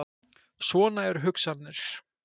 Svona eru hugsanirnar.